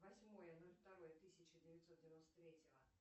восьмое ноль второе тысяча девятьсот девяносто третьего